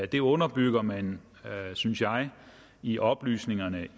det underbygger man synes jeg i oplysningerne